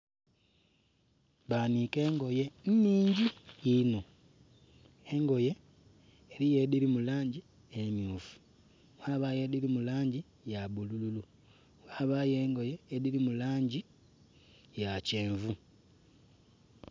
Banhiike engoye nnhingi inho engoye eriyo edhiri mu langi emyufu ghabayo edhiri mu langi ya bulululu ghabayo engoye edhiri mu langi ya kyenvu.